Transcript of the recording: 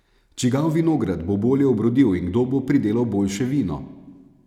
Čigav vinograd bo bolje obrodil in kdo bo pridelal boljše vino?